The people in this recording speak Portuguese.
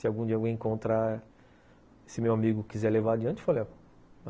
Se algum dia eu encontrar... Se meu amigo quiser levar adiante, eu